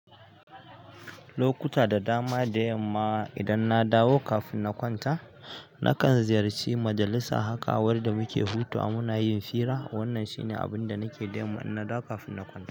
Lokuta da dama da yamma idan na dawo kafin na kwanta, nakan ziyarci majalisa haka wanda muke hutawa muna yin fira. Wannan shi ne abin da nake da yamma in na dawo kafin na kwanta.